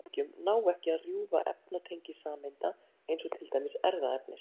Orkuskammtarnir í örbylgjum ná ekki að rjúfa efnatengi sameinda, eins og til dæmis erfðaefnis.